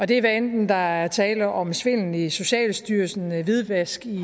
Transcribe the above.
det er hvad enten der er tale om svindel i socialstyrelsen hvidvask i